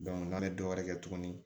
n'a bɛ dɔ wɛrɛ kɛ tuguni